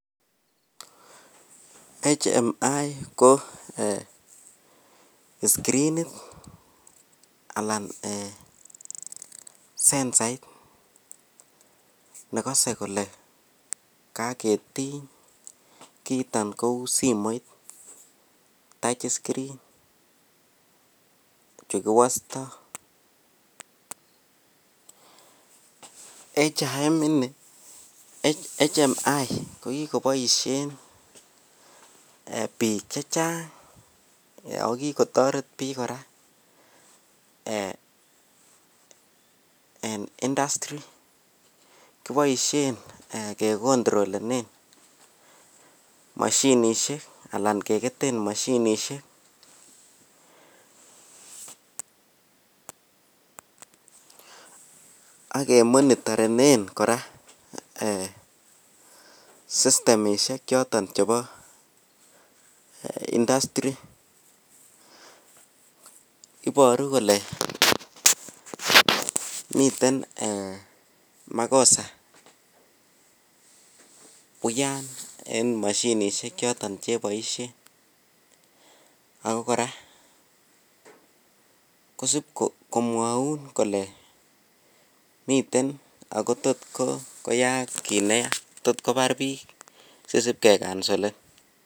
HMI ko um skirinit alan um sensait nekose kole koketiny, kiiton kou simoit touch screen chu kiwosto. HIM ini, HHMI kokiboisien biik chechang' ago kikotoret biik kora en industry. Kiboisien kekontrolenen moshinisiek ala keketen moshinisiek ak kemonitorenen kora sistemisiek choton chebo industry. Iboru kole miten um makosa uyan en moshinisiekchoton cheboisien ako kora kosipko mwoun kole miten ogo tot koyaak kit neya, tot kobar biik sisib kekansolen.